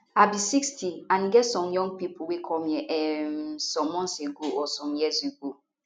i be 60 and e get some young pipo wey come here um some months ago or some years ago